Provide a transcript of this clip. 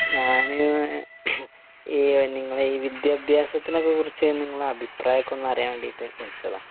ഞാന് ഈ നിങ്ങളെ ഈ വിദ്യാഭ്യാസത്തിനൊക്കെ കുറിച്ച് നിങ്ങളെ അഭിപ്രായം ഒക്കെ ഒന്ന് അറിയാൻ വേണ്ടിട്ട് വിളിച്ചതാ